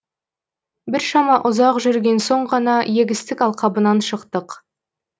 біршама ұзақ жүрген соң ғана егістік алқабынан шықтық